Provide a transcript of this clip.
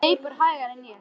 Hann hleypur hægar en ég.